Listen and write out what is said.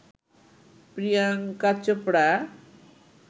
Priyanka Chopra